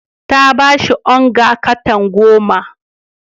Ta ba shi onga katan goma.